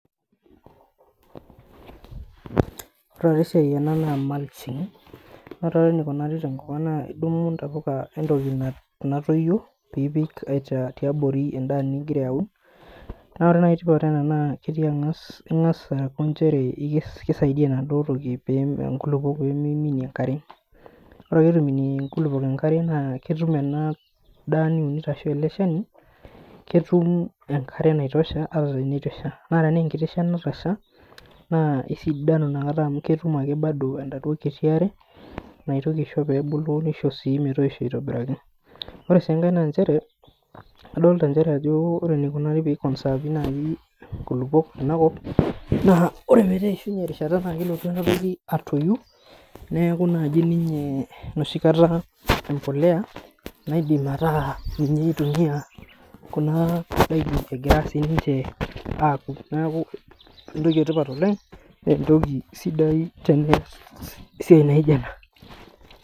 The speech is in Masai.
Ore ake esiai ena naa mulching naa ore eneikunaari tenkopang' naa idumu ntapuka entoki natoyio piipik tiabori endaa nigira aun naa ore naa etipat naa ketii ang'as, ing'as aku nchere ikes enaduo toki piipik inkulukwo peemiminie enkare. Ore ake peetu iminie inkulukwok enkare naa ketum ena daa niunito ashu ele shani, ketum enkare naitosha ata tenetu esha. Naa tenaa enkiti shan natasha, naa esidanu inakata amu ketum ake bado enaduo kiti are naitoki ashore peebulu neisho sii metoisho aitobiraki. Ore sii enake naa nchere, adolita nchere ajo ore enekuni nai pee i conserve naai nkulukwok tenakop naa ore petaa eishunye erishata naa kelotu enoshi naji atoyu neeku naji ninye enoshi kata mbolea naaidim ataa ninye eitumia kuna daiki egira siininche aapuku. Neeku entoki etipat oleng', entoki sidai oleng' teneesi esiai naijo ena